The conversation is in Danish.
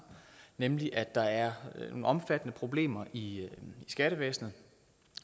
nemlig at der er omfattende problemer i skattevæsenet